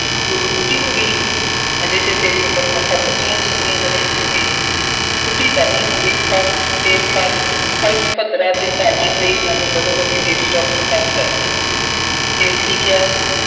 ਤੂੰ ਕੋਈ ਬੁੱਢੀ ਹੋ ਗਈ ਹੈ। ਹਜੇ ਤਾਂ ਤੇਰੀ ਉਮਰ ਮਸਾਂ ਪੱਚੀਆਂ ਛੱਬੀਆਂ ਵਰ੍ਹਿਆਂ ਦੀ ਹੋਏਗੀ। ਬੁੱਢੀ ਤਾਂ ਨਹੀਂ ਹੋ ਗਈ, ਪਰ, ਫੇਰ ਪਰ, ਫਲਸ਼, ਭੱਦਰਾ ਅਤੇ ਚਾਨਣ ਦੇਈ ਮੈਨੂੰ ਬਦੋ-ਬਦੀ lady doctor ਪਾਸ ਲੈ ਗਈਆਂ। ਫੇਰ ਕੀ ਕਿਹਾ ਉਹਨੇ।